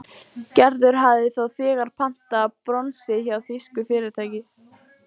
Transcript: Gerður hafði þá þegar pantað bronsið hjá þýsku fyrirtæki.